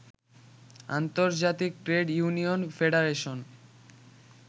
আন্তর্জাতিক trade union federation